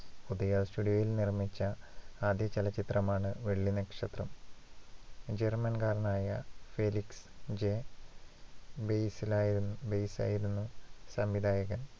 Udaya studio യിൽ നിർമ്മിച്ച ആദ്യ ചലച്ചിത്രമാണ് വെള്ളിനക്ഷത്രം. ജർമ്മൻകാരനായ ഫെലിക്സ്. ജെ ബെയിസലായിരുന്നു ബെയിസായിരുന്നു സംവിധായകൻ.